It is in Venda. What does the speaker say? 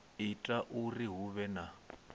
ita uri hu vhe na